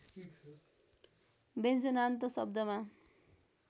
व्यञ्जनान्त शब्दमा